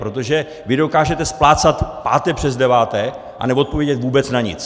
Protože vy dokážete splácat páté přes deváté a neodpovědět vůbec na nic.